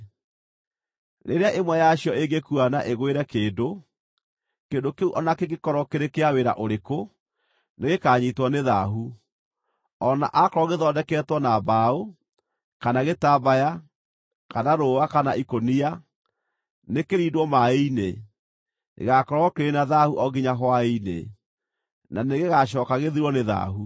Rĩrĩa ĩmwe yacio ĩngĩkua na ĩgũĩre kĩndũ, kĩndũ kĩu o na kĩngĩkorwo kĩrĩ kĩa wĩra ũrĩkũ, nĩgĩkanyiitwo nĩ thaahu, o na aakorwo gĩthondeketwo na mbaũ, kana gĩtambaya, kana rũũa kana ikũnia. Nĩkĩrindwo maaĩ-inĩ; gĩgaakorwo kĩrĩ na thaahu o nginya hwaĩ-inĩ, na nĩgĩgacooka gĩthirwo nĩ thaahu.